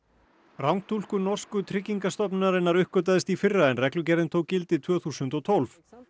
rangtúlkun norsku tryggingastofnunarinnar uppgötvaðist í fyrra en reglugerðin tók gildi tvö þúsund og tólf